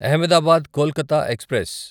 Ahmedabad Kolkata express